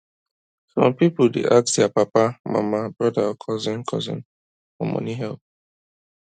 some people dey ask their papa mama brother or cousin cousin for money help